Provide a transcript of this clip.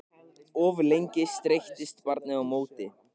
Of lengi streittist barnið á móti